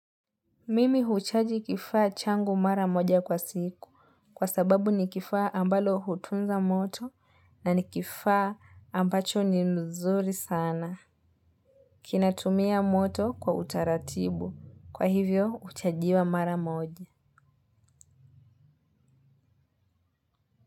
Mimi huchaji kifaa changu mara moja kwa siku kwa sababu nikifaa ambalo hutunza moto na nikifaa ambacho ni mzuri sana. Kinatumia moto kwa utaratibu kwa hivyo huchajiwa mara moja.